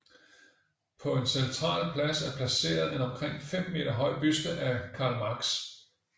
På en central plads er placeret en omkring 5 meter høj buste af Karl Marx